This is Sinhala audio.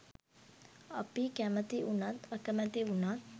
අපි කැමති උනත් අකමැති උනත්